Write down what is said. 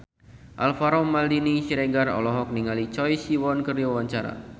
Alvaro Maldini Siregar olohok ningali Choi Siwon keur diwawancara